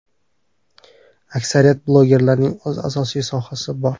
Aksariyat blogerlarning o‘z asosiy sohasi bor.